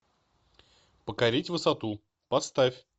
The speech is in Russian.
покорить высоту поставь